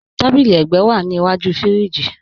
Tàbílí ègbẹ́ wa ní ìwájú fíríjì.